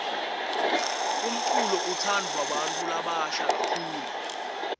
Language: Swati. umculo utsandvwa bantfu labasha kakhulu